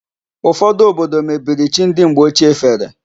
Ụfodụ obodo mebiri chi ndị mgbe ochie fere.